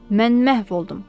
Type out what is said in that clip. Mən məhv oldum,